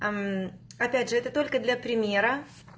опять же это только для примера